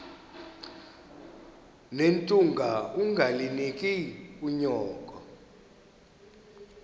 nethunga ungalinik unyoko